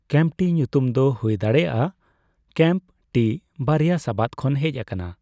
ᱠᱮᱢᱯᱴᱤ' ᱧᱩᱛᱩᱢ ᱫᱚ ᱦᱳᱭᱫᱟᱲᱮᱹᱭᱟᱜ ᱼᱟ 'ᱠᱮᱢᱯᱼᱴᱤ ᱵᱟᱨᱭᱟ ᱥᱟᱵᱟᱫ ᱠᱷᱚᱱ ᱦᱮᱡ ᱟᱠᱟᱱᱟ ᱾